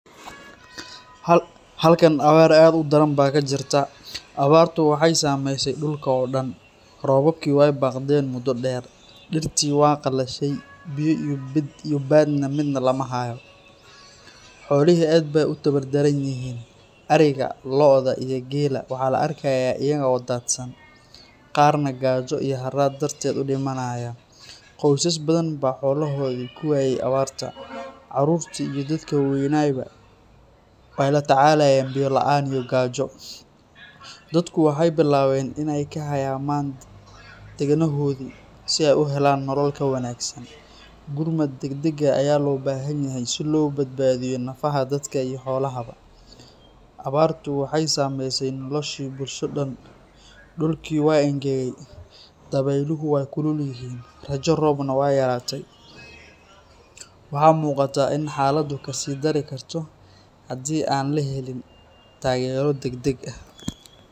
Halkaan abaar aad udaran baa kajirta, abaar tu waxay sameyse dulka oo daan, robabko way baqdeen mudo daan, dirti way qalashay, biyo ,did iyo baad na mid lamahayo. Xoolihi aad bay utawardaran yihiin, ariga lo`oda iyo geela waxa la arkaya ayako dadsaan, qaar na gaajo haraad dartedha udimanaya. Qowsas badhan baa xolohodha kuwaye abarta carurta iyo dadka wa weynyba waxay latacalayan biyo la`an iyo qajo. Dadko waxay bilawen inay kahayman manta dagnohodhi si ay uhelaan nolol ka wangasan. Gudmad dagdag aya loo bahanyahy si loo badbadiyo nafaha dadka iyo xoolaha ba. Abartu waxay samayse nolashi bulsho daan, dulki waa ingage daweluhu way kululihin, rajo roob na waa yarate. Waxa muqata in xalada kasidari karto hadi an laheliin tageero dagdag ah.